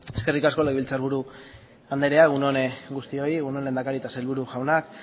eskerrik asko legebiltzar buru andrea egun on guztioi egun on lehendakari eta sailburu jauna